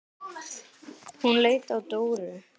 Hún leit til Dóru.